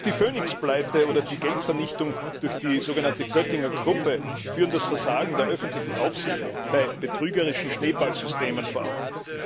Auch die Phoenix Pleite oder die Geldvernichtung durch die sogenannte Göttinger Gruppe führen das Versagen der öffentlichen Aufsicht bei betrügerischen Schneeballsystemen vor Augen.